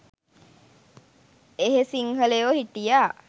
එහෙ සිංහලයො හිටියා